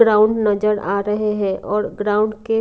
ground नजर आ रहे हैं और ग्राउंड के --